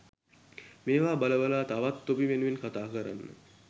මේවා බල බල තවත් තොපි වෙනුවෙන් කතා කරන්න